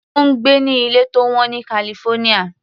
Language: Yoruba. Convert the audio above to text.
Ó ń gbé ní ilé tó wọ́n ní California.